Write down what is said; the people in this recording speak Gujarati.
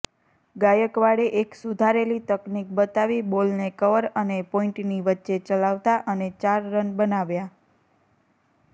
ગાયકવાડે એક સુધારેલી તકનીક બતાવી બોલને કવર અને પોઇન્ટની વચ્ચે ચલાવતાં અને ચાર રન બનાવ્યા